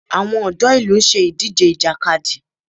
Àwọn ọ̀dọ́ ìlú ń ṣe idije Ìjàkadì